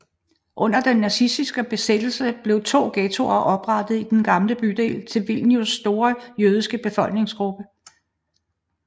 Under den nazistiske besættelse blev to ghettoer oprettet i den gamle bydel til Vilnius store jødiske befolkningsgruppe